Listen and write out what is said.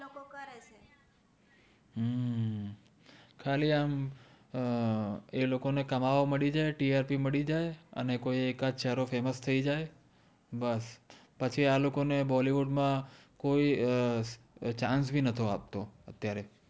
ખાલી આમ અર એ લોકો ને કમાવા મદિ જાએ O મદિ જાએ અને કોઇ એક આદ ચેહરો famous થૈ જાએ બસ પછિ આ લોકો ને બોલીવૂદ મા કોઇ chance નતો આપતો અત્ય઼આરે